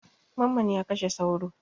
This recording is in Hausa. Mamman ya kashe sauro.